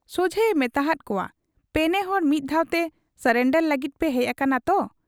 ᱥᱚᱡᱷᱮᱭᱮ ᱢᱮᱛᱟᱦᱟᱫ ᱠᱚᱣᱟ ᱯᱮᱱᱮᱦᱚᱲ ᱢᱤᱫ ᱫᱷᱟᱣᱛᱮ ᱥᱚᱨᱮᱱᱰᱚᱨ ᱞᱟᱹᱜᱤᱫ ᱯᱮ ᱦᱮᱡ ᱟᱠᱟᱱᱟ ᱛᱚ ?